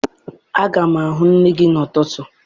Aga m ahụ nne gị n'ụtụtụ.